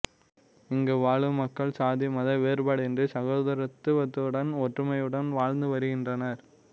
இங்கு வாழும் மக்கள் சாதி மத வேறுபாடின்றி சகோதரத்துவத்துடன் ஒற்றுமையுடன் வாழ்ந்து வருகின்றனர்